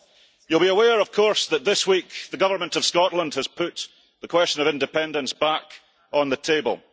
You will be aware, of course, that this week the government of Scotland has put the question of independence back on the table.